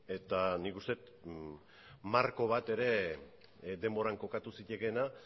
eta nik uste dut marko bat ere denboran kokatu zitekeena